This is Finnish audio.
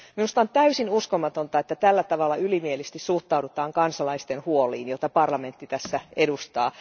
Minusta on täysin uskomatonta, että tällä tavalla ylimielisesti suhtaudutaan kansalaisten huoliin, joita parlamentti tässä edustaa!